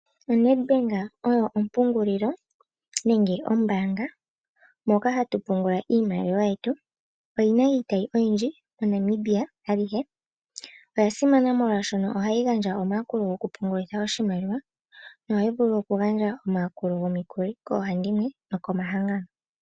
ONedbank oyo ompungulilo nenge ombaanga moka hatu pungula iimaliwa yetu. Oyi na iitayi oyindji moNamibia alihe. Oya simana molwaashono ohayi gandja omayakulo gokupungulitha oshimaliwa nohayi vulu okugandja omayakulo gomikuli koohandimwe nokomahangano.